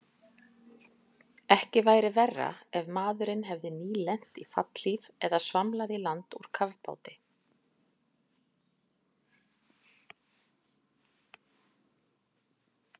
Ekki væri verra ef maðurinn hefði nýlent í fallhlíf eða svamlað í land úr kafbáti.